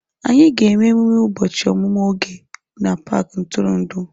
Anyị ga-eme emume ụbọchị ọmụmụ Oge na paaki ntụrụndụ.